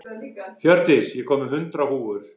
Hjördís, ég kom með hundrað húfur!